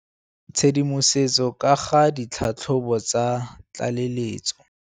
Tshedimosetso ka ga ditlhatlhobo tsa tlaleletso.